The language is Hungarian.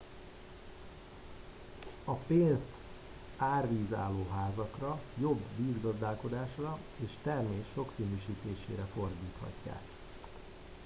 a pénzt árvízálló házakra jobb vízgazdálkodásra és a termés sokszínűsítésére fordíthatják